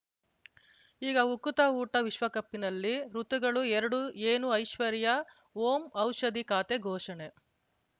ಈಗ ಉಕುತ ಊಟ ವಿಶ್ವಕಪ್‌ನಲ್ಲಿ ಋತುಗಳು ಎರಡು ಏನು ಐಶ್ವರ್ಯಾ ಓಂ ಔಷಧಿ ಖಾತೆ ಘೋಷಣೆ